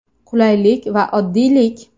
Qulaylik va oddiylik.